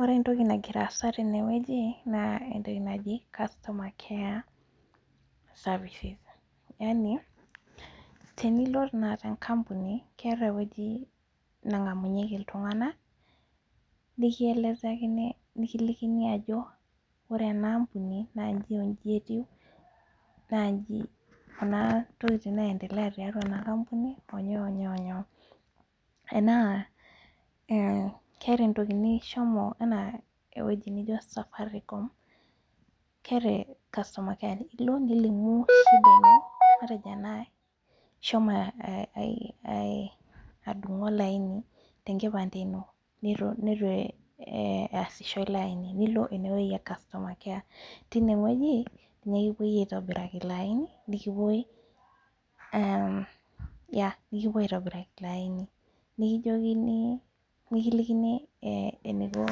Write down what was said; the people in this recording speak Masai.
Orentoki nagiraasa tenewueji naa entoki naji customer care services, yani, tenilo tenakata enkampuni keata ewueji nang'amunyeki iltung'ana nikielezakini nikilikini ajo ore enaampuni naa nyji onyji etiu, naanyji kuna tokitin naendea tatua enakampuni onyoo onyoo onyoo, enaa eh keata entoki nishomo enaa ewueji nijo safarikom keata customer care ilo nilimu shida ino matejo enaae ishomo [ah aih] adung'u olaini tenkipande ino neitu eh easisho iloaini nilo inewueji e customer care. Tinewueji ninye kipuoi aitobiraki iloaini nikipuoi ehm, [yah] nikipuoi aitobiraki iloaini nikijokini, nikilikini eh eneiko